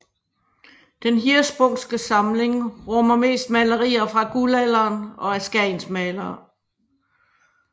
Den Hirschsprungske samling rummer mest malerier fra Guldalderen og af skagensmalerne